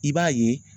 I b'a ye